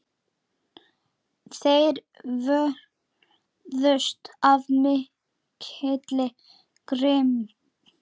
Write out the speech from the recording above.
Þeir vörðust af mikilli grimmd.